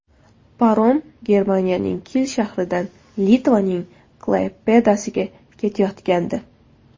Parom Germaniyaning Kil shahridan Litvaning Klaypedasiga ketayotgandi.